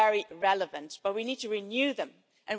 is not a detail this is a threat